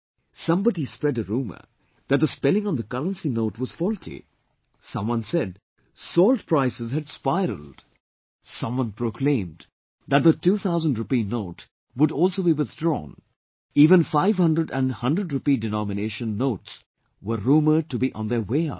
Somebody spread a rumour that the spelling on the currency note was faulty, someone said salt prices had spiraled, someone proclaimed that the 2000 rupee note would also be withdrawn, even 500 and 100 rupee denominations notes were rumoured to be on their way out